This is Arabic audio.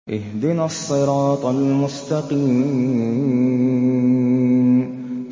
اهْدِنَا الصِّرَاطَ الْمُسْتَقِيمَ